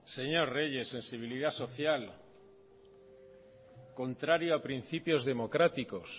señor reyes sensibilidad social contrario a principios democráticos